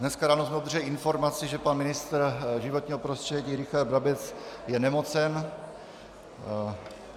Dnes ráno jsme obdrželi informaci, že pan ministr životního prostředí Richard Brabec je nemocen.